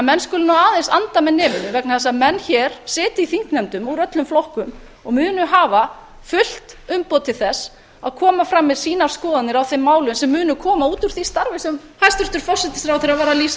menn skulu því aðeins anda með nefinu vegna þess að menn hér sitja í þingnefndum úr öllum flokkum og munu hafa fullt umboð til þess að koma fram með síðan skoðanir á þeim málum sem munu koma út úr því starfi sem hæstvirtur forsætisráðherra var að lýsa